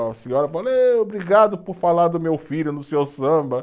A senhora falou, êh obrigado por falar do meu filho no seu samba.